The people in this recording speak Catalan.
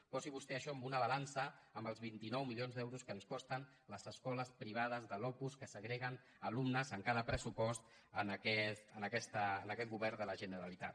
posi vostè això en una balança amb els vint nou milions d’euros que ens costen les escoles privades de l’opus que segreguen alumnes en cada pressupost en aquest govern de la generalitat